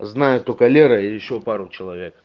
знаю только лера и ещё пару человек